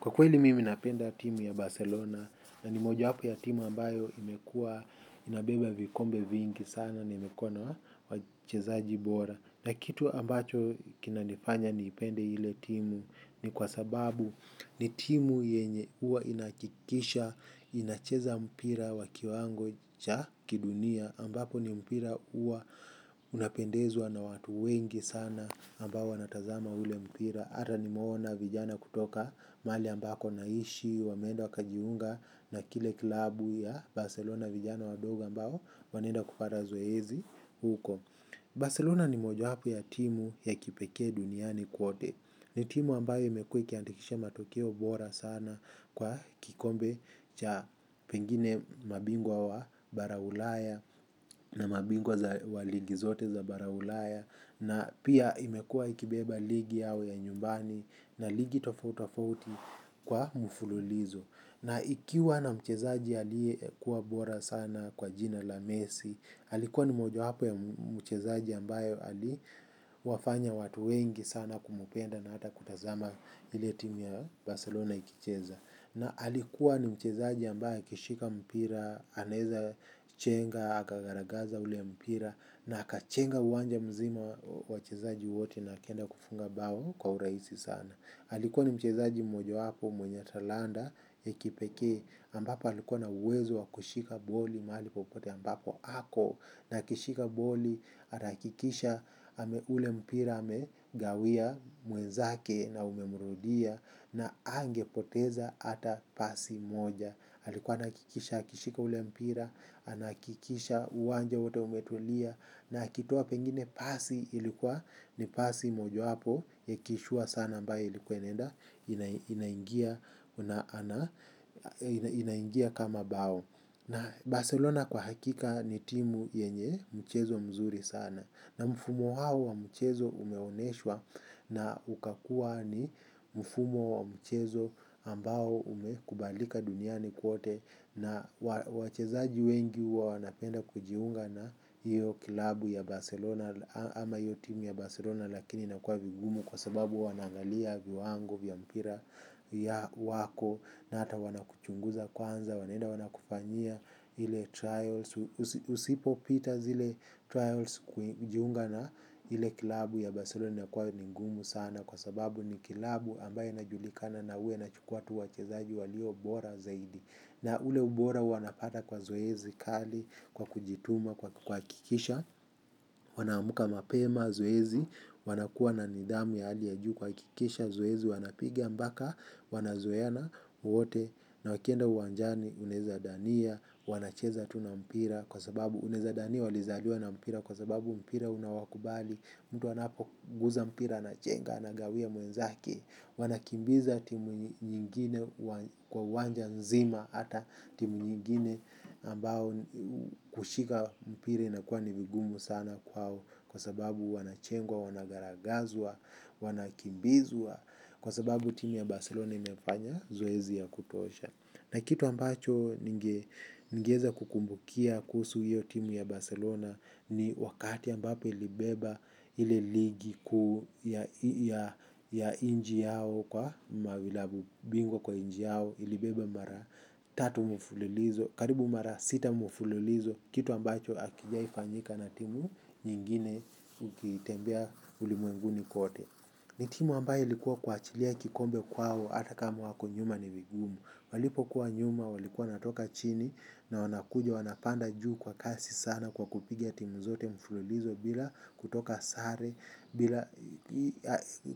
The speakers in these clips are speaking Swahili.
Kwa kweli mimi napenda timu ya Barcelona na ni mojawapo ya timu ambayo imekuwa inabeba vikombe vingi sana na imekuwa na wachezaji bora. Na kitu ambacho kinanifanya niipende ile timu ni kwa sababu ni timu yenye huwa inahakikisha inacheza mpira wa kiwango cha kidunia ambapo ni mpira huwa unapendezwa na watu wengi sana. Ambao wanatazama ule mpira yata nimeona vijana kutoka mahali ambako naishi, wameenda wakajiunga na kile klabu ya Barcelona vijana wadogo ambao wanaenda kupata zoezi huko. Barcelona ni mojawapo ya timu ya kipekee duniani kwote. Ni timu ambayo imekuwa ikiandikisha matokeo bora sana kwa kikombe cha pengine mabingwa wa bara ulaya na mabingwa wa ligi zote za bara ulaya na pia imekuwa ikibeba ligi yao ya nyumbani na ligi tofautitofauti kwa mfululizo. Na ikiwa na mchezaji aliyekuwa bora sana kwa jina la Messi, alikuwa ni mojawapo ya mchezaji ambayo aliwafanya watu wengi sana kumpenda na hata kutazama ile timu ya Barcelona ikicheza. Na alikuwa ni mchezaji ambaye akishika mpira, anaeza chenga, akagaragaza ule mpira, na akachenga uwanja mzima wachezaji wote na akaenda kufunga bao kwa urahisi sana. Alikuwa ni mchezaji mojawapo mwenye talanta ya kipekee ambapo alikuwa na uwezo wa kushika boli mahali popote ambapo ako. Na akishika boli atahakikisha ule mpira amegawia mwenzake na umemrudia na hangepoteza hata pasi moja. Alikuwa anahakikisha, akishika ule mpira, anahakikisha uwanja wote umetulia na akitoa pengine pasi ilikuwa ni pasi mojawapo ya kishua sana ambayo ilikuwa inaenda inaingia kama bao. Barcelona kwa hakika ni timu yenye mchezo mzuri sana. Na mfumo hao wa mchezo umeonyeshwa na ukakuwa ni mfumo wa mchezo ambao umekubalika duniani kwote na wachezaji wengi huwa wanapenda kujiunga na hiyo klabu ya Barcelona ama hiyo timu ya Barcelona lakini inakuwa vigumu kwa sababu wanaangalia viwango vya mpira ya wako na hata wanakuchunguza kwanza wanaenda wanakufanyia ile trials. Usipopita zile trials kujiunga na ile klabu ya Barcelona inakuwa ni ngumu sana kwa sababu ni klabu ambayo inajulikana na huwa inachukua tu wachezaji walio bora zaidi. Na ule ubora wanapata kwa zoezi kali, kwa kujituma kwa kuhakikisha wanaamka mapema zoezi wanakuwa na nidhamu ya hali ya juu kuhakikisha zoezi wanapiga mpaka wanazoeana wote na wakienda uwanjani unaeza dhania wanacheza tu na mpira kwa sababu unaweza dhania walizaliwa na mpira kwa sababu mpira unawakubali, mtu anapoguza mpira anachenga anagawia mwenzake. Wanakimbiza timu nyingine kwa uwanja nzima hata timu nyingine ambao kushika mpira inakuwa ni vigumu sana kwao kwa sababu wanachengwa, wanagaragazwa, wanakimbizwa. Kwa sababu timu ya Barcelona imefanya zoezi ya kutosha. Na kitu ambacho ningeweza kukumbukia kuhusu hiyo timu ya Barcelona ni wakati ambapo ilibeba ile ligi kuu ya ya nchi yao kwa mavilabu bingwa kwa nchi yao. Ilibeba mara tatu mfululizo, karibu mara sita mfululizo. Kitu ambacho hakijai fanyika na timu nyingine ukitembea ulimwenguni kwote. Ni timu ambayo ilikuwa kuachilia kikombe kwao hata kama wako nyuma ni vigumu. Walipokuwa nyuma walikuwa natoka chini na wanakuja wanapanda juu kwa kasi sana kwa kupiga timu zote mfululizo bila kutoka sare, bila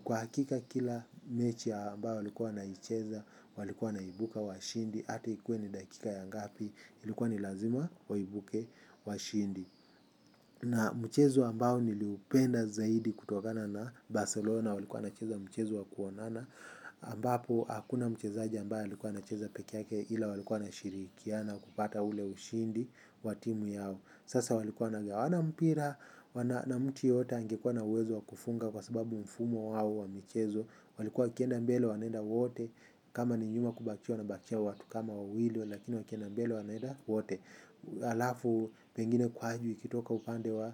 kwa hakika kila mechi ambayo walikuwa wanaicheza walikuwa wanaibuka washindi hata ikuwe ni dakika ya ngapi. Ilikuwa ni lazima waibuke washindi. Na mchezo ambao niliupenda zaidi kutokana na Barcelona walikuwa wanacheza mchezo wa kuonana ambapo hakuna mchezaji ambaye alikuwa anacheza peke yake ila walikuwa wanashirikiana kupata ule ushindi wa timu yao. Sasa walikuwa wanagawana mpira. Na mtu yoyote angekuwa na uwezo wa kufunga kwa sababu mfumo wao wa michezo walikuwa wakienda mbele wanaenda wote, kama ni nyuma kubakia wanabakia watu kama wawili lakini wakienda mbele wanaenda wote. Alafu pengine ukitoka upande wa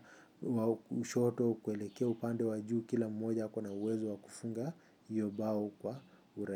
kushoto kuelekea upande wa juu kila mmoja ako na uwezo wa kufunga hiyo bao kwa ura.